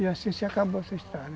E assim se acabou essa estrada